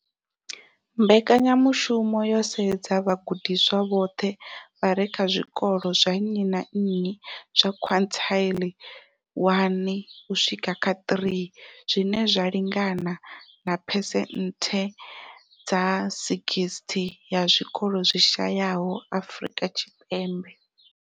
Mbekanyamushumo yo sedza vhagudiswa vhoṱhe vha re kha zwikolo zwa nnyi na nnyi zwa quintile 1-3, zwine zwa lingana na phesenthe dza 60 ya zwikolo zwi shayesaho Afrika Tshipembe.